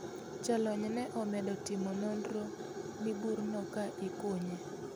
Jolony ne omedo timo nonro ni burno ka ikunye.